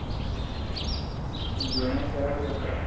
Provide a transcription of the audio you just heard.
N favorite a.